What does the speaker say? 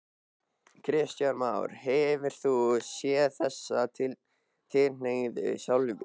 Kristján Már: Hefur þú séð þessa tilhneigingu sjálfur?